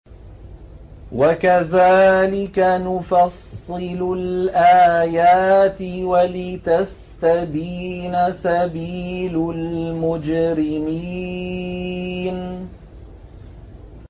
وَكَذَٰلِكَ نُفَصِّلُ الْآيَاتِ وَلِتَسْتَبِينَ سَبِيلُ الْمُجْرِمِينَ